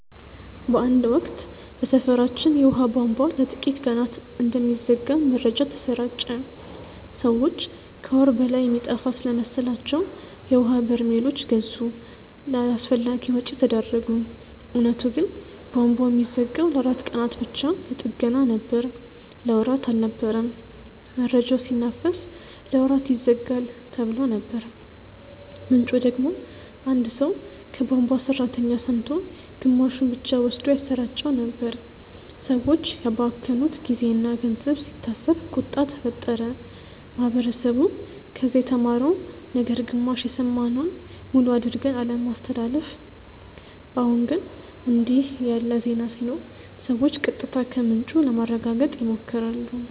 በአንድ ወቅት በሰፈራችን የውሃ ቧንቧ ለጥቂት ቀናት እንደሚዘጋ መረጃ ተሰራጨ። ሰዎች ከወር በላይ የሚጠፋ ስለመሰላቸው የውሀ በርሜሎች ገዙ፣ ለአላስፈላጊ ወጪ ተዳረጉ። እውነቱ ግን ቧንቧው የሚዘጋው ለአራት ቀናት ብቻ ለጥገና ነበር። ለወራት አልነበረም። መረጃው ሲናፈስ "ለወራት ይዘጋል"ተብሎ ነበር፣ ምንጩ ደግሞ አንድ ሰው ከቧንቧ ሠራተኛ ሰምቶ ግማሹን ብቻ ወስዶ ያሰራጨው ነበር። ሰዎች ያባከኑት ጊዜና ገንዘብ ሲታሰብ ቁጣ ተፈጠረ። ማህበረሰቡ ከዚህ የተማረው ነገር ግማሽ የሰማነውን ሙሉ አድርገን አለማስተላለፍ። አሁን ግን እንዲህ ያለ ዜና ሲኖር ሰዎች ቀጥታ ከምንጩ ለማረጋገጥ ይሞክራሉ